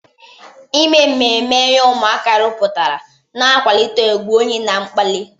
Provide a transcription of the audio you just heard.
Ime mmemme ihe ụmụaka rụpụtara na-akwalite ùgwù onye na mkpali.